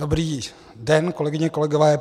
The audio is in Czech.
Dobrý den, kolegyně, kolegové.